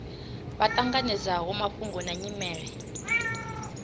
vha ṱanganedzaho mafhungo na nyimele